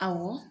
Awɔ